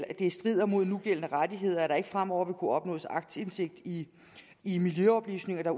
at det strider mod nugældende rettigheder at der ikke fremover vil kunne opnås aktindsigt i i miljøoplysninger der